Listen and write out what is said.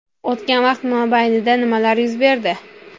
O‘tgan vaqt mobaynida nimalar yuz berdi?